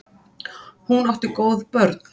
Hún átti góð börn.